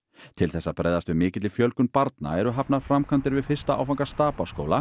til þess að bregðast við mikilli fjölgun barna eru hafnar framkvæmdir við fyrsta áfanga